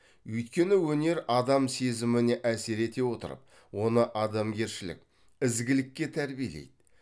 өйткені өнер адам сезіміне әсер ете отырып оны адамгершілік ізгілікке тәрбиелейді